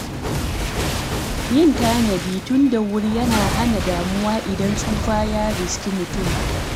Yin tanadi tun da wuri yana hana damuwa idan tsufa ya riske mutum.